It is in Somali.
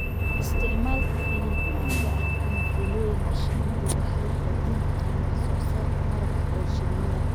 Isticmaalka finan caagga ah ama fiilooyinka shinnidu waxay kordhin karaan wax soo saarka malabka ee shinnida.